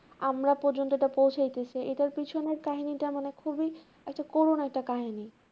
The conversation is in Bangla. আমরা পর্যন্ত ওটা পৌছাইতেছে এটার পিছনের কাহিনী টা মানে খুবই একটা করুন একটা কাহিনী